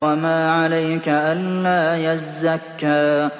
وَمَا عَلَيْكَ أَلَّا يَزَّكَّىٰ